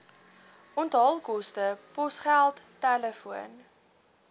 onthaalkoste posgeld telefoon